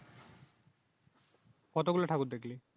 কতগুলো ঠাকুর দেখলি?